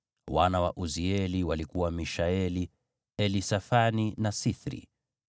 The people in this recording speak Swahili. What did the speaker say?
Wana wa Uzieli walikuwa Mishaeli, Elisafani na Sithri.